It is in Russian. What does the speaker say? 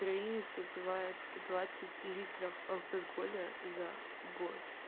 украинец выпивает двадцать литров алкоголя за год